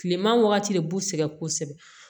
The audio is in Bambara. Kileman wagati de b'u sɛgɛ kosɛbɛ